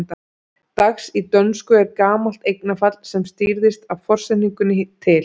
Dags í dönsku er gamalt eignarfall sem stýrðist af forsetningunni til.